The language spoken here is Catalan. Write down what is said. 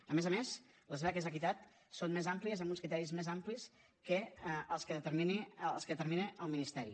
a més a més les beques equitat són més àmplies amb uns criteris més amplis que els que determina el ministeri